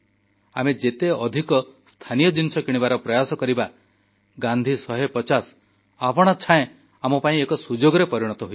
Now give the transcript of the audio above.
ଆମେ ଯେତେ ଅଧିକ ସ୍ଥାନୀୟ ଜିନିଷ କିଣିବାର ପ୍ରୟାସ କରିବା ଗାନ୍ଧୀ 150 ଆପଣାଛାଏଁ ଆମ ପାଇଁ ଏକ ସୁଯୋଗରେ ପରିଣତ ହୋଇଯିବ